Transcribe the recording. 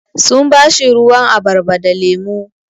Sun ba shi ruwan abarba da lemu.